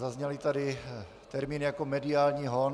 Zazněl tady termín jako mediální hon.